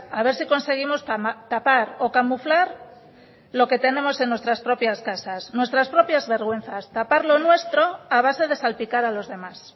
a ver si conseguimos tapar o camuflar lo que tenemos en nuestras propias casas nuestras propias vergüenzas tapar lo nuestro a base de salpicar a los demás